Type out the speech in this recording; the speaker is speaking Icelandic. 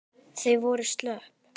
Þau voru slöpp.